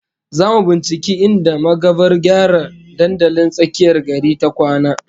Zamu binciki inda magavar gyara dandalin tsakiyar gari ta kwana